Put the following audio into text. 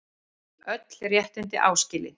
Öll réttindi áskilin.